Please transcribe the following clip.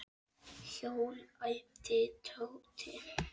Hjól? æpti Tóti.